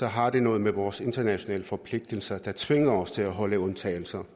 har det noget med vores internationale forpligtelser der tvinger os til at have undtagelser